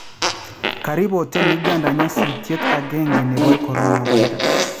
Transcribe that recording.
Karipoten Uganda nyosutyet agenge nepo coronavirus